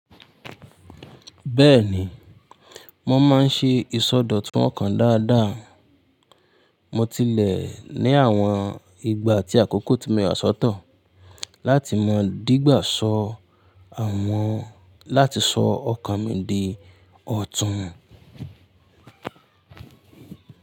Bẹ́ẹ̀ni, mo máa ń ṣe ìsọdọ̀tun ọkàn dáadáa. Mo tilẹ̀ ní àwọn ìgbà tí àkókò ti mọya àsọtọ̀ láti mọ dígbaso àwọn láti sọ ọkàn mi di ọ̀tún.